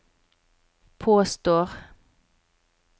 påstår